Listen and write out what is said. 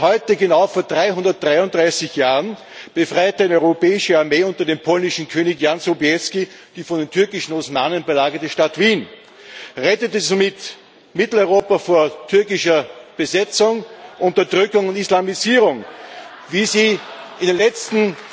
Denn genau heute vor 333 Jahren befreite eine europäische Armee unter dem polnischen König Jan Sobieski die von den türkischen Osmanen belagerte Stadt Wien und rettete somit Mitteleuropa vor türkischer Besetzung, Unterdrückung und Islamisierung, wie Sie dies in den letzten